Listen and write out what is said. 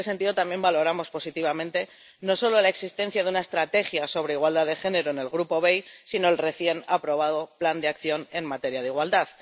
Y, en este sentido, también valoramos positivamente no solo la existencia de una estrategia sobre igualdad de género en el Grupo BEI, sino el recién aprobado plan de acción en materia de igualdad.